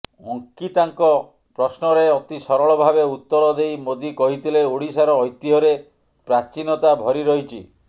ଅଙ୍କିତାଙ୍କ ପ୍ରଶ୍ନରେ ଅତି ସରଳ ଭାବେ ଉତ୍ତର ଦେଇ ମୋଦି କହିଥିଲେ ଓଡ଼ିଶାର ଐତିହ୍ୟରେ ପ୍ରାଚୀନତା ଭରି ରହିଛି